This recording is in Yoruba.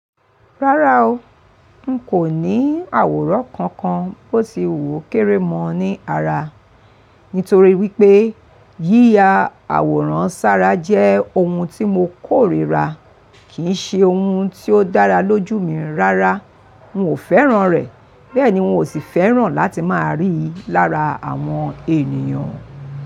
Rárá o, n kò ní àwòrán kankan bó ti wu okéré mọ́ ní ara. Nítorí wípé yíya àwòrán sára jẹ́ ohun tí mo kórìíra, kì í ṣe ohun tó dára lójú mi rárá. N ò fẹ́ràn rẹ̀, bẹ́ẹ̀ ni n ò sì fẹ́ràn láti máa rí i lára àwọn ènìyàn.